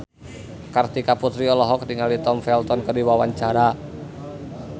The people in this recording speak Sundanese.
Kartika Putri olohok ningali Tom Felton keur diwawancara